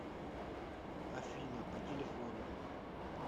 афина по телефону